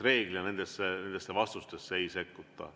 Reeglina nendesse vastustesse ei sekkuta.